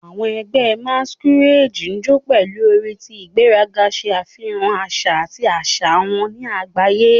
"Awọn ẹgbẹ masquerade jó pẹlu ori ti igberaga, ṣe afihan aṣa ati aṣa wọn si agbaye. "